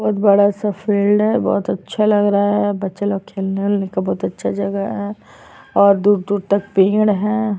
बहुत बड़ा सा फील्ड { है बहुत अच्छा लग रहा है बच्चे लोग खेलने वेलने का बहुत अच्छा जगह है और दूर - दूर तक पेड़ है। }